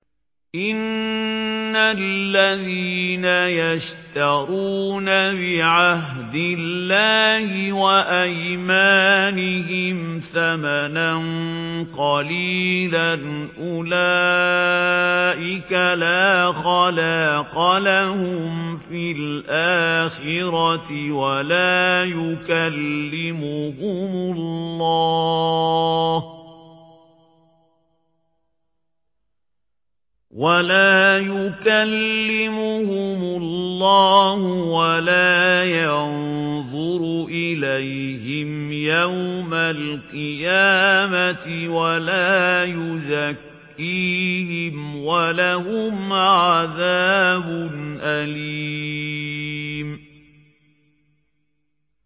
إِنَّ الَّذِينَ يَشْتَرُونَ بِعَهْدِ اللَّهِ وَأَيْمَانِهِمْ ثَمَنًا قَلِيلًا أُولَٰئِكَ لَا خَلَاقَ لَهُمْ فِي الْآخِرَةِ وَلَا يُكَلِّمُهُمُ اللَّهُ وَلَا يَنظُرُ إِلَيْهِمْ يَوْمَ الْقِيَامَةِ وَلَا يُزَكِّيهِمْ وَلَهُمْ عَذَابٌ أَلِيمٌ